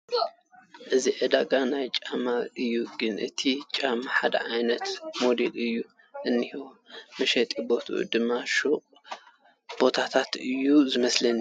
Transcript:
እዚ ዕዳጋ ናይ ጫማ እዩ ግን እቲ ጫማ ሓደ ዓይነት ሞድ እዩ እንሄ ፡ መሸጢ ቦቱኡ ድማ ሹቕ ባራታት እዩ ዝመስል ።